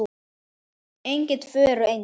Engin tvö eru eins.